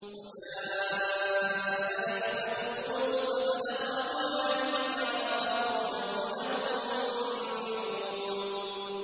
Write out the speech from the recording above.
وَجَاءَ إِخْوَةُ يُوسُفَ فَدَخَلُوا عَلَيْهِ فَعَرَفَهُمْ وَهُمْ لَهُ مُنكِرُونَ